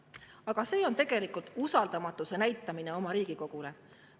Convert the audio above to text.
Aga see on tegelikult usaldamatuse ülesnäitamine Riigikogu vastu.